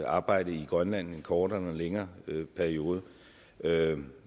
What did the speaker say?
arbejde i grønland i en kortere eller længere periode med